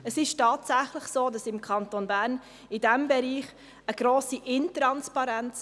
Im Kanton Bern herrscht in diesem Bereich tatsächlich eine grosse Intransparenz.